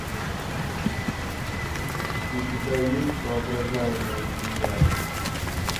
у тебя есть воображаемая земля